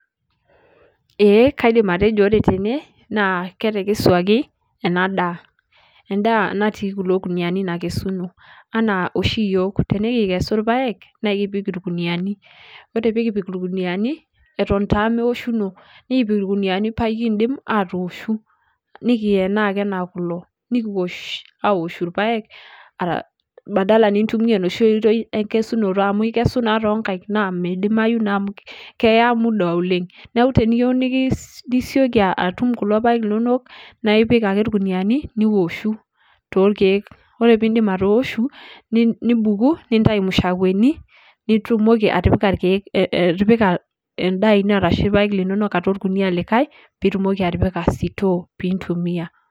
Ee kaidim atejo ore tene, naa ketekesuaki enadaa. Endaa natii kulo kuniyiani nakesuno. Enaa oshi yiok, tenikikesu irpaek, nakipik irkuniyiani. Ore pikipik irkuniyiani, eton taa meoshuno, nikipik irkuniyiani pakidim atooshu. Nikienaa ake enaa kulo. Nikiwosh awoshu irpaek, badala nintumia enoshi oitoi enkesunoto amu ikesu naa tonkaik, na midimayu naa amu keya muda oleng. Neeku teniyieu nisioki atum kulo paek linonok, na ipik ake irkuniyiani, niwoshu torkeek. Ore pidim atooshu, nibuku, nintayu mshakweni, nitumoki atipika irkeek atipika endaa ino ashu irpaek linono atua orkuniya likae, pitumoki atipika sitoo pintumia.